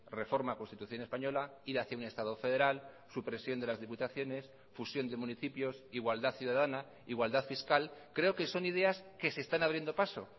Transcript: reforma constitución española ir hacía un estado federal supresión de las diputaciones fusión de municipios igualdad ciudadana igualdad fiscal creo que son ideas que se están abriendo paso